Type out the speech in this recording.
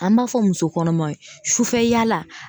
An b'a fɔ muso kɔnɔmaw ye sufɛ yala